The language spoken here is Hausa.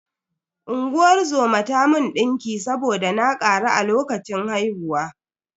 Unguwar zoma ta mun ɗinki saboda na ƙaru a lokacin haihuwa.